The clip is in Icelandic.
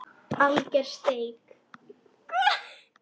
Alger steik